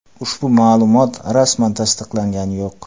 Ushbu ma’lumot rasman tasdiqlangani yo‘q.